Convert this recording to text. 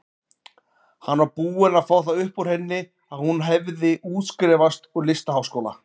Hann var búinn að fá það upp úr henni að hún hefði útskrifast úr listaháskóla.